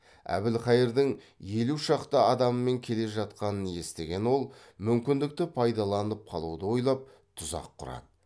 әбілқайырдың елу шақты адамымен келе жатқанын естіген ол мүмкіндікті пайдаланып қалуды ойлап тұзақ құрады